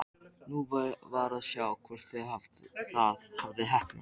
Nú var að sjá hvort það hafði heppnast!